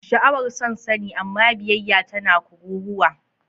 Sha'awar son sani, amma biyayya tana kururuwa.